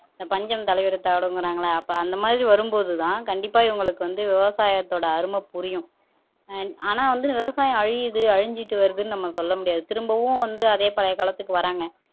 இந்த பஞ்சம் தலைவிரித்தாடும்ங்கறாங்களே அப்ப அந்த மாதிரி வரும்போதுதான் கண்டிப்பா இவங்களுக்கு வந்து விவசாயத்தோட அருமை புரியும் அண்ட் ஆனா வந்து விவசாயம் அழியுது அழிஞ்சுட்டு வருதுன்னு நம்ம சொல்ல முடியாது திரும்பவும் வந்து அதே பழைய காலத்துக்கு வர்றாங்க